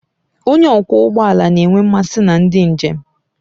Onye ọkwọ ụgbọ ala a na-enwe mmasị na ndị njem